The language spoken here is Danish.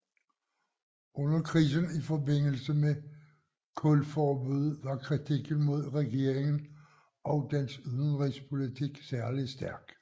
Under krisen i forbindelse med kulforbuddet var kritikken mod regeringen og dens udenrigspolitik særlig stærk